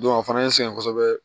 a fana ye n sɛgɛn kosɛbɛ